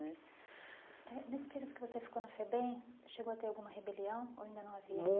Né eh nesse período que você ficou na FEBEM, chegou a ter alguma rebelião ou ainda não havia?